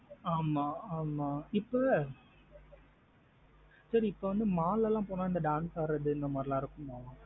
ஆமா ஆமா இப்ப சரி இப்ப வந்து mall லாம் போன இந்த dance ஆடறது இந்த மாத்ரி எல்லாம் இருக்குமா?